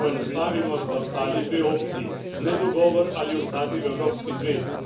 Če poenostavimo, sta ostali dve opciji nedogovor ali ostati v Evropski zvezi.